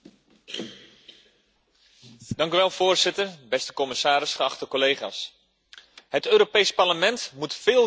Voorzitter, beste commissaris, geachte collega's, het Europees Parlement moet veel kritischer kijken naar haar uitgavenpatroon.